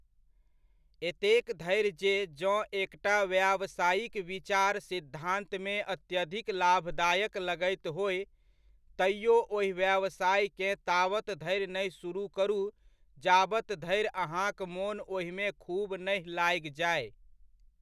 एतेक धरि जे जँ एकटा व्यावसायिक विचार सिद्धान्तमे अत्यधिक लाभदायक लगैत होय, तैओ ओहि व्यवसायकेँ ताबत धरि नहि सुरुह करू जाबत धरि अहाँक मोन ओहिमे खूब नहि लागि जाय।